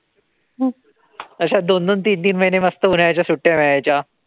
अशा दोन-दोन तीन-तीन महिने मस्त उन्हाळ्याच्या सुट्ट्या मिळायच्या.